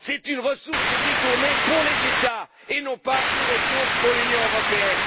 C'est une ressource détournée pour les États et non pas une ressource pour l'Union européenne.